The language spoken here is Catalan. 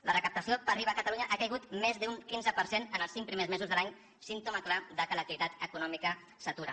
la recaptació per iva a catalunya ha caigut més d’un quinze per cent en els cinc primers mesos de l’any símptoma clar que l’activitat econòmica s’atura